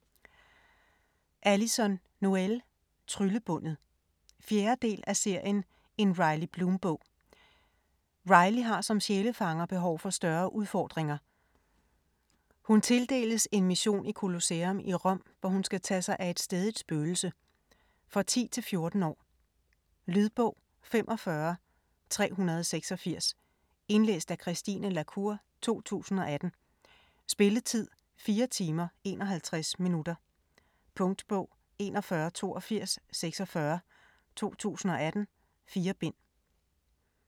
Noël, Alyson: Tryllebundet 4. del af serien En Riley Bloom-bog. Riley har som sjælefanger behov for større udfordringer. Hun tildeles en mission i Colosseum i Rom, hvor hun skal tage sig af et stædigt spøgelse. For 10-14 år. Lydbog 45386 Indlæst af Christine la Cour, 2018. Spilletid: 4 timer, 51 minutter. Punktbog 418246 2018. 4 bind.